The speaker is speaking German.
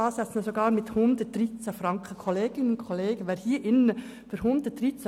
Nach den SKOS-Ansätzen wären es 113 Franken.